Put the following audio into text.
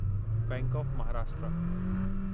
bank of Maharashtra